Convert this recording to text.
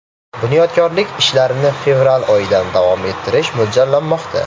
Bunyodkorlik ishlarini fevral oyidan davom ettirish mo‘ljallanmoqda”.